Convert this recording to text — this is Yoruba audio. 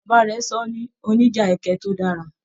Bàbá rẹ sọ ní oníjà ẹkẹ to dára.